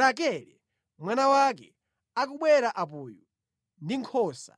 Rakele mwana wake akubwera apoyu ndi nkhosa.”